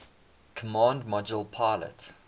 command module pilot